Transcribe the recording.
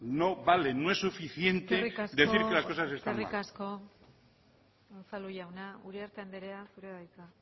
no vale no es suficiente decir que las cosas están mal eskerrik asko unzalu jauna uriarte andrea zurea da hitza